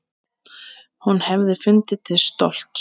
Hún hefði fundið til stolts.